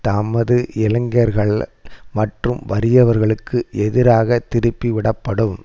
தமது இளைஞர்கள் மற்றும் வறியவர்களுக்கு எதிராக திருப்பி விடப்படும்